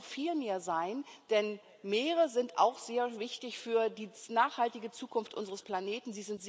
Aber es muss noch viel mehr sein, denn Meere sind auch sehr wichtig für die nachhaltige Zukunft unseres Planeten.